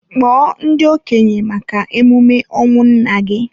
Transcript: Kpọọ ndị okenye maka emume ọnwụ nnanna gị!